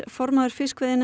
formaður